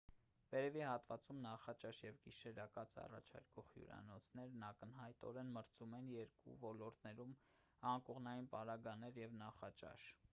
վերևի հատվածում նախաճաշ և գիշերակաց առաջարկող հյուրանոցներն ակնհայտորեն մրցում են երկու ոլորտում անկողնային պարագաներ և նախաճաշ